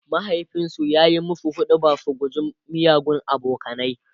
mahaifinsu ya musu huɗubar su guji miyagun abokanai